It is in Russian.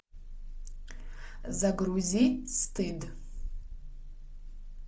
загрузи стыд